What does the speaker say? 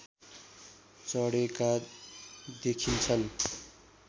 चढेका देखिन्छन्